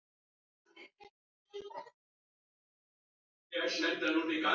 Þeim finnst þeim storkað